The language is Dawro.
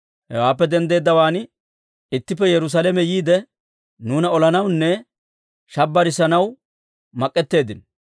Hewaappe denddeeddawaan ittippe Yerusaalame yiide nuuna olanawunne shabbirisanaw mak'etteeddinno.